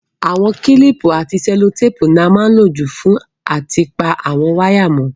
Àwon kílìpù àti sẹ́lótàpù ni a má n lo jù fún áti pa àwon wire mó